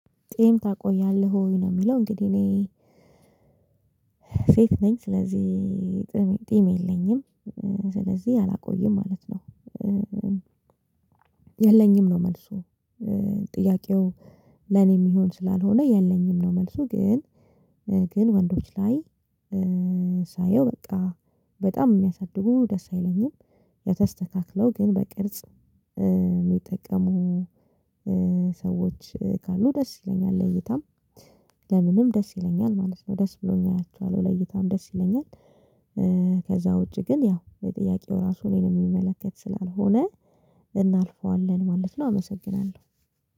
ጢም ታቆያለህ ወይ ነው የሚለው እንግዲህ እኔ ሴት ነኝ ስለዚህ ጢም የለኝም ስለዚህ አላቆይም ማለት ነው። የለኝም ነው። መልሱ ጥያቄው ለኔ የሚሆን ስላልሆነ የለኝም ነው መልሱ። ግን ግን ወንዶች ላይ ሳየው በቃ በጣም የሚያሳድጉ ደስ አይለኝም። የተስተካክለው ግን በቅርጽ የሚጠቀሙ ሰዎች ካሉ ደስ ይለኛል ለይታም ለምንም ደስ ይለኛል ማለት ነው ደስ ብሎኝ አያችኋለሁ ለይታም ደስ ይለኛል። ከዛ ውጪ ግን ያው የጥያቄው ራሱ እኔን የሚመለከት ስላልሆነ እናልፈዋለን ማለት ነው። አመሰግናለሁ